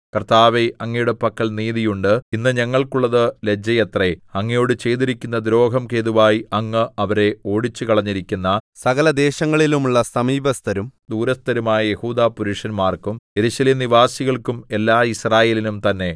കർത്താവേ അങ്ങയുടെ പക്കൽ നീതിയുണ്ട് ഇന്ന് ഞങ്ങൾക്കുള്ളത് ലജ്ജയത്രെ അങ്ങയോട് ചെയ്തിരിക്കുന്ന ദ്രോഹം ഹേതുവായി അങ്ങ് അവരെ ഓടിച്ചുകളഞ്ഞിരിക്കുന്ന സകലദേശങ്ങളിലുമുള്ള സമീപസ്ഥരും ദൂരസ്ഥരുമായ യെഹൂദാപുരുഷന്മാർക്കും യെരൂശലേം നിവാസികൾക്കും എല്ലാ യിസ്രായേലിനും തന്നെ